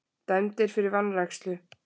Dæmdir fyrir vanrækslu